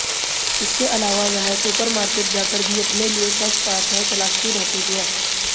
इसके अलावा वह सुपर मार्केट जाकर भी अपने लिए सेक्स पार्टनर तलाशती रहती हैं